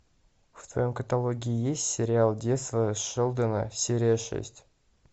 в твоем каталоге есть сериал детство шелдона серия шесть